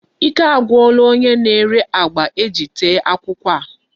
Ike agwula onye na-ere agba eji tee akwukwo a.